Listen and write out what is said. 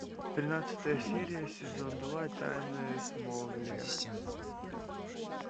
тринадцатая серия сезон два тайны смолвиля